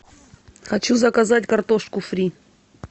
хочу заказать картошку фри